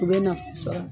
U bɛ nafa sɔrɔ